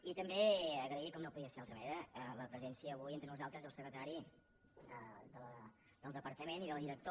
i també agrair com no podria ser d’altra ma·nera la presència avui entre nosaltres del secretari del departament i del director